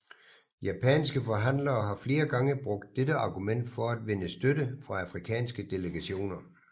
Japanske forhandlere har flere gange brugt dette argument for at vinde støtte fra afrikanske delegationer